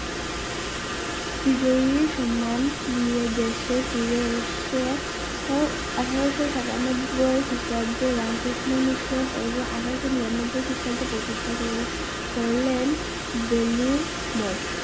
বিজয়ী সম্মান নিয়ে দেশে ফিরে এসেছে উহ আঠারোশো সাতানব্বই খ্রিস্টাব্দে রামকৃষ্ণ মিশন এবং আঠারোশো নিয়ানব্বই খ্রিস্টাব্দে প্রতিষ্ঠা করলে~করলেন বেলুড় মঠ